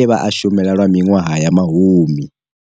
e vha a shumela lwa miṅwaha ya mahumi.